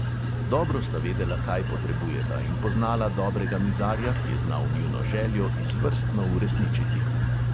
Dobro sta vedela, kaj potrebujeta, in poznala dobrega mizarja, ki je znal njuno željo izvrstno uresničiti.